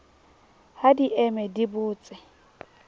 ha di eme di botse